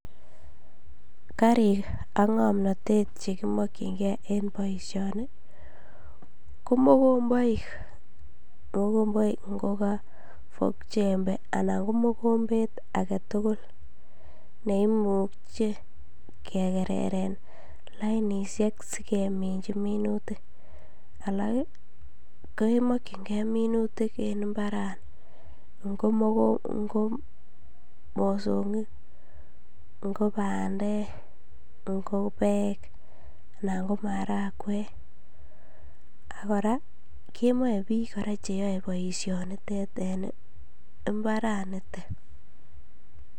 Karik ak ngomnotet che kimokyin gee en boisioni ko mokomboik okogo fork jembe anan ko mokombet agetugul nekimuche kegereren lainishek si kemichi minutik alak ii ko kemokyingee minutik en imbarani ngo mosongik ngo bandek ngo beek anan ko marangwek ak koraa kemii biik cheyoe boisioni nitet en imbarani niton